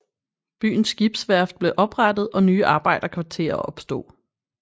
Byens skibsværft blev oprettet og nye arbejderkvarterer opstod